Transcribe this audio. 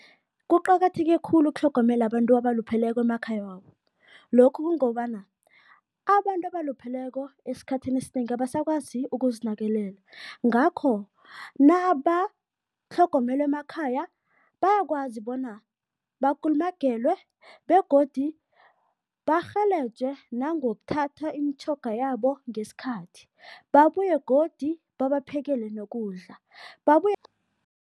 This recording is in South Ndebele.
Kuqakatheke khulu ukutlhogomela abantu abalupheleko emakhaya wabo. Lokhu kungobana, abantu abalupheleko esikhathini esinengi abasakwazi ukuzinakelela, ngakho nabatlhogomelwa emakhaya bayakwazi bona bakulumagelwe begodi barhelejwe nangokuthatha imitjhoga yabo ngesikhathi, babuye godi babaphekele nokudla, babuye